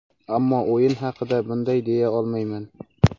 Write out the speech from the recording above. ammo o‘yin haqida bunday deya olmayman.